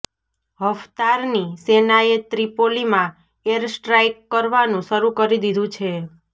હફ્તારની સેનાએ ત્રિપોલીમાં એરસ્ટ્રાઇક કરવાનું શરૂ કરી દીધું છે